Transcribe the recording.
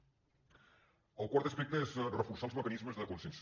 el quart aspecte és reforçar els mecanismes de conscienciació